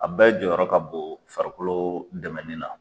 A bɛ jɔyɔrɔ ka bon farikolo dɛmɛnin na.